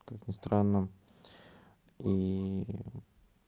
как ни странно ии